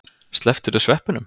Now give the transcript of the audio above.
Slepptirðu sveppunum?